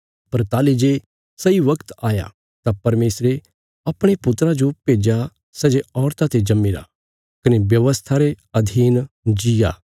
पर ताहली जे सही बगत आया तां परमेशरे अपणे पुत्रा जो भेज्या सै जे औरता ते जम्मीरा कने व्यवस्था रे अधीन जीआ